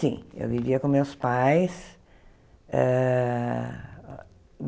Sim, eu vivia com meus pais. Eh